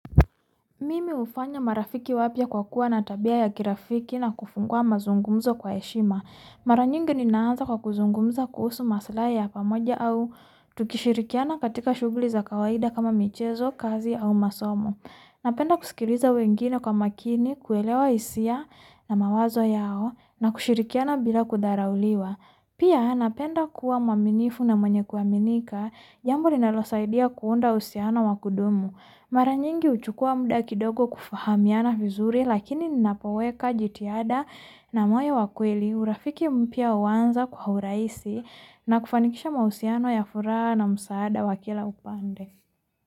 Mimi hufanya marafiki wapya kwa kuwa na tabia ya kirafiki na kufungua mazungumzo kwa heshima. Mara nyingi ninanza kwa kuzungumz kuhusu masilahi ya pamoja au tukishirikiana katika shughuli za kawaida kama michezo, kazi au masomo. Napenda kusikiliza wengine kwa makini, kuelewa hisia na mawazo yao, na kushirikiana bila kudharauliwa. Pia, napenda kuwa mwaminifu na mwenye kuaminika, jambo linalosaidia kuunda uhusiano wa kudumu. Mara nyingi huchukua mda kidogo kufahamiana vizuri, lakini ninapoweka jitihada na moyo wa kweli, urafiki mpya huanza kwa urahisi na kufanikisha mahusiano ya furaha na msaada wa kila upande.